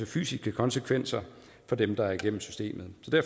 fysiske konsekvenser for dem der skal igennem systemet